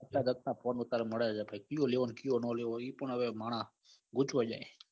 માં વાતાડૅ મળે છે કૈક કિયો લેવો એ કિયો ના લેવો એ પણ માણહ ગોઠવાઈ જાય.